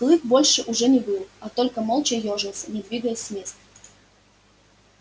клык больше уже не выл а только молча ёжился не двигаясь с места